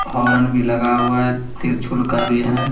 होरन भी लगा हुआ है तिरछुल का भी है।